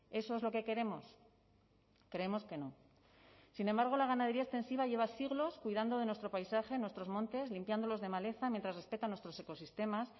eso es lo que queremos creemos que no sin embargo la ganadería extensiva lleva siglos cuidando de nuestro paisaje nuestros montes limpiándolos de maleza mientras respeta nuestros ecosistemas